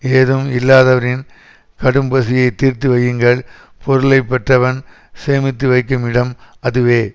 ஏதும் இல்லாதவரின் கடும்பசியை தீர்த்து வையுங்கள் பொருளை பெற்றவன் சேமித்து வைக்கும் இடம் அதுவே